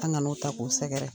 An' ŋan'o ta k'u sɛgɛrɛ!